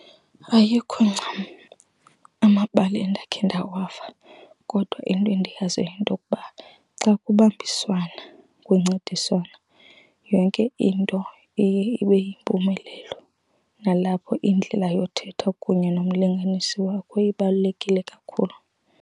Ayikho ncam amabali endakhe ndawava, kodwa into endiyaziyo yintokuba xa kubambiswana kuncediswana yonke into iye ibe yimpumelelo, nalapho indlela yothetha kunye nomlinganisi wakho ibalulekile kakhulu.